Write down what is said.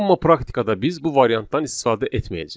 Amma praktikada biz bu variantdan istifadə etməyəcəyik.